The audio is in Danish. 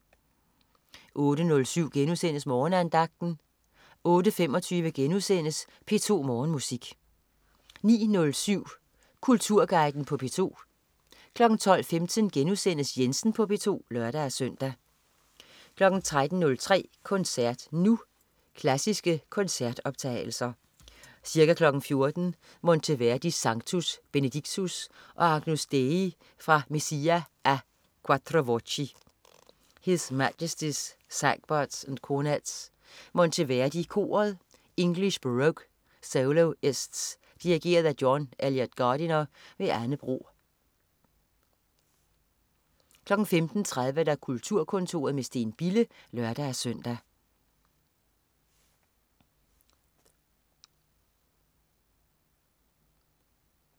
08.07 Morgenandagten* 08.25 P2 Morgenmusik* 09.07 Kulturguiden på P2 12.15 Jensen på P2* (lør-søn) 13.03 Koncert Nu. Klassiske koncertoptagelser. Ca. 14.00 Monteverdi: Sanctus, Benedictus. og Agnus Dei fra Messa a 4 voci. His Majestys Sagbutts & Cornetts. Monteverdi Koret. English Baroque Soloists. Dirigent: John Eliot Gardiner. Anne Bro 15.30 Kulturkontoret med Steen Bille (lør-søn)